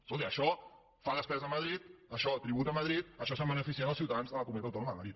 escolti això fa despesa a madrid això tributa a madrid d’això se’n beneficien els ciutadans de la comunitat autònoma de madrid